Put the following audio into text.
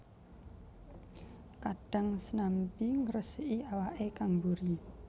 Kadhang snanmbi ngresiki awake kang buri